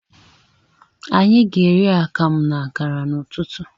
Anyi ga eri akamụ na akara ụtụtụ.